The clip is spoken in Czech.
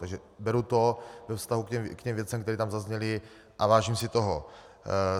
Takže beru to ve vztahu k těm věcem, které tam zazněly, a vážím si toho.